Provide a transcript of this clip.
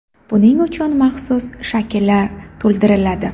Buning uchun maxsus shakllar to‘ldiriladi.